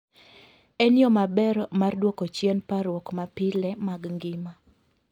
En yo maber mar duoko chien parruok mapile mag ngima.